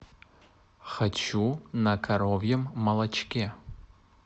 хочу на коровьем молочке